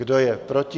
Kdo je proti?